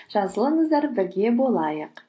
жазылыңыздар бірге болайық